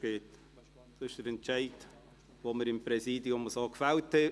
Dies ist die Entscheidung, die wir seitens des Präsidiums getroffen haben.